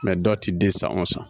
dɔw ti den san o san